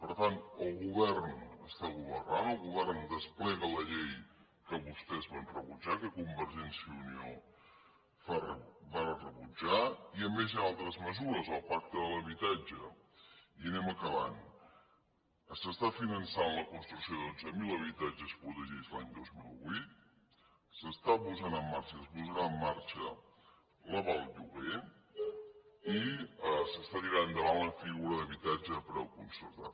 per tant el govern està governant el govern desplega la llei que vostès van rebutjar que convergència i unió va rebutjar i a més hi han altres mesures al pacte de l’habitatge i anem acabant s’està finançant la construc ció de dotze mil habitatges protegits l’any dos mil vuit s’està posant en marxa i es posarà en marxa l’aval lloguer i s’està tirant endavant la figura d’habitatge a preu concertat